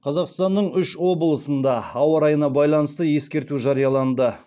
қазақстанның үш облысында ауа райына байланысты ескерту жарияланды